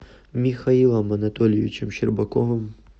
михаилом анатольевичем щербаковым